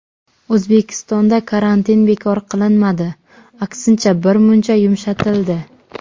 O‘zbekistonda karantin bekor qilinmadi, aksincha, birmuncha yumshatildi.